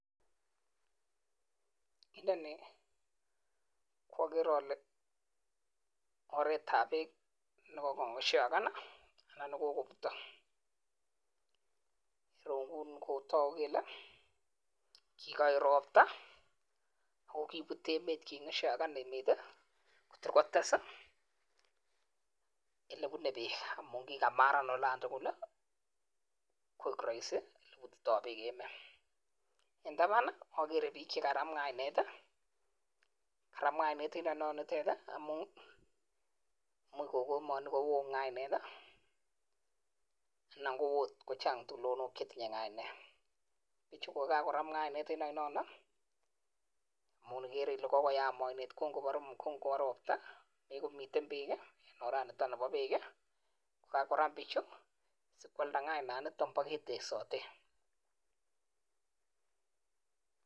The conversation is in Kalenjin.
Agere ale nitok. nii KO.oret ap.peek. nekikonyakshagan ako. kipute peeek